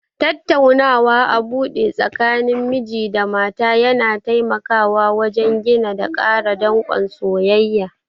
Tattaunawa a buɗe tsakanin miji da mata yana taimawa wajen gina da ƙara danƙon soyayya.